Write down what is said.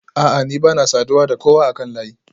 A'a ni bana saduwa da kowa akan layi